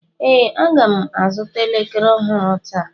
Ee, Aga m azụta elekere ọhụrụ taa